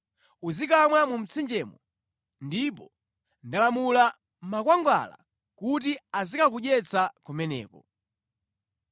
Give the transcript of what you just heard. Uzikamwa mu mtsinjemo, ndipo ndalamula makwangwala kuti azikakudyetsa kumeneko.”